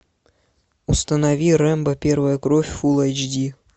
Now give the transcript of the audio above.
установи рэмбо первая кровь фул эйч ди